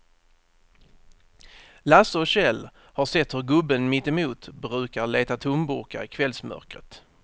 Lasse och Kjell har sett hur gubben mittemot brukar leta tomburkar i kvällsmörkret.